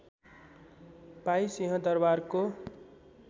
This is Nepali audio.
पाई सिंहदरबारको